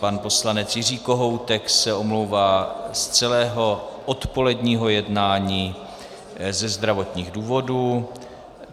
Pan poslanec Jiří Kohoutek se omlouvá z celého odpoledního jednání ze zdravotních důvodů.